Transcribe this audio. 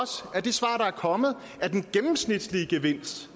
kommet at den gennemsnitlige gevinst